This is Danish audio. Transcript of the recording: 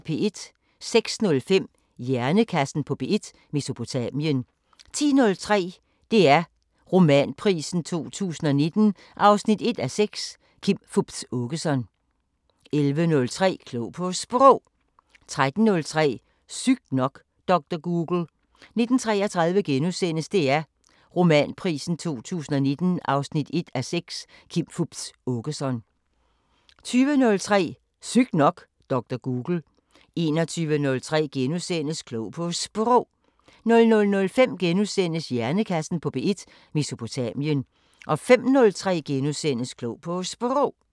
06:05: Hjernekassen på P1: Mesopotamien 10:03: DR Romanprisen 2019 1:6 – Kim Fupz Aakeson 11:03: Klog på Sprog 13:03: Sygt nok: Dr. Google 19:33: DR Romanprisen 2019 1:6 – Kim Fupz Aakeson * 20:03: Sygt nok: Dr. Google 21:03: Klog på Sprog * 00:05: Hjernekassen på P1: Mesopotamien * 05:03: Klog på Sprog *